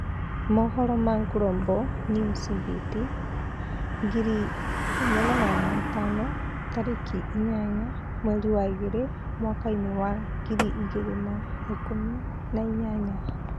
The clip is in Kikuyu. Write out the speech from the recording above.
Mohoro ma Global News Beat 1500 tarĩki inyanya mweri wa ĩrĩ mwaka-inĩ wa ngiri igĩrĩ na ikũmi na inyanya.